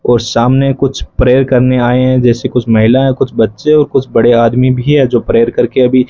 और सामने कुछ प्रेयर करने आए हैं जैसे कुछ महिलाएं कुछ बच्चे और कुछ बड़े आदमी भी है जो प्रेयर करके अभी --